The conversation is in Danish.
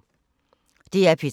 DR P3